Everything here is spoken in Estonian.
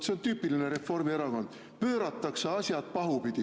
See on tüüpiline Reformierakond: pööratakse asjad pahupidi.